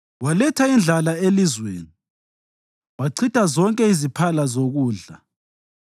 Waletha indlala elizweni wachitha zonke iziphala zokudla;